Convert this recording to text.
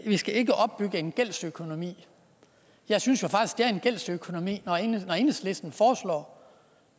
skal opbygge en gældsøkonomi jeg synes jo faktisk at det er en gældsøkonomi når enhedslisten